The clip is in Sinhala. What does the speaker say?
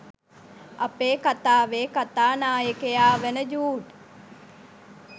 අපේ කතාවේ කතා නායකයා වන ජූඞ්